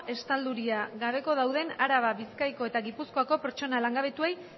estaldurarik gabe dauden arabako bizkaiko eta gipuzkoako pertsona langabetuei